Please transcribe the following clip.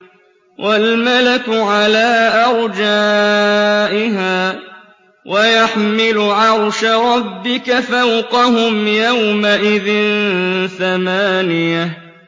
وَالْمَلَكُ عَلَىٰ أَرْجَائِهَا ۚ وَيَحْمِلُ عَرْشَ رَبِّكَ فَوْقَهُمْ يَوْمَئِذٍ ثَمَانِيَةٌ